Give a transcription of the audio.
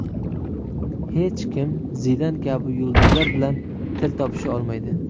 Hech kim Zidan kabi yulduzlar bilan til topisha olmaydi.